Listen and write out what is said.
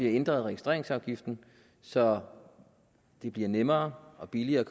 ændret registreringsafgiften så det bliver nemmere og billigere at